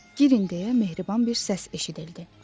Girin deyə mehriban bir səs eşidildi.